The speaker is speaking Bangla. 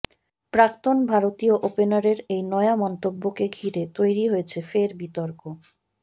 প্রাক্তন ভারতীয় ওপেনারের এই নয়া মন্তব্যকে ঘিরে তৈরি হয়েছে ফের বিতর্ক